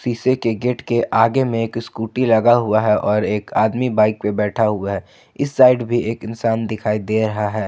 शीशे के गेट के आगे में एक स्कूटी लगा हुआ है और एक आदमी बाइक पर बैठा हुआ है इस साइड भी एक इंसान दिखाई दे रहा है।